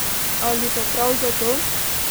Ali pa prav zato?